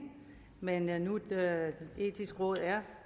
men da nu det etiske råd er